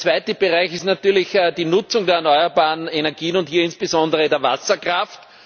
Der zweite Bereich ist natürlich die Nutzung der erneuerbaren Energien und hier insbesondere der Wasserkraft.